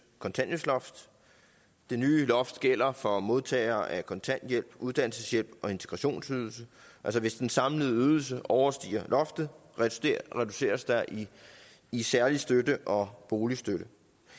kontanthjælpsloft det nye loft gælder for modtagere af kontanthjælp uddannelseshjælp og integrationsydelse hvis den samlede ydelse overstiger loftet reduceres der i i særlig støtte og boligstøtte